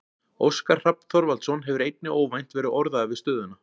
Óskar Hrafn Þorvaldsson hefur einnig óvænt verið orðaður við stöðuna.